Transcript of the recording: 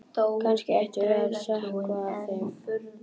Kannski ættum við að sökkva þeim.